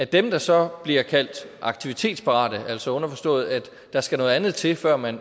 dem der så bliver kaldt aktivitetsparate altså underforstået at der skal noget andet til før man